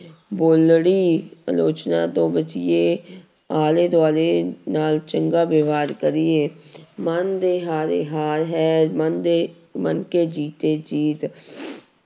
ਬੋਲੜੀ ਅਲੋਚਨਾ ਤੋਂ ਬਚੀਏ ਆਲੇ ਦੁਆਲੇ ਨਾਲ ਚੰਗਾ ਵਿਵਹਾਰ ਕਰੀਏ ਮਨ ਦੇ ਹਾਰੇ ਹਾਰ ਹੈ ਮਨ ਦੇ ਮਨ ਕੇ ਜੀਤੇ ਜੀਤ